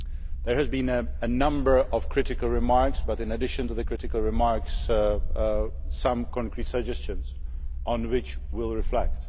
There have been a number of critical remarks but, in addition to the critical remarks, some concrete suggestions on which we will reflect.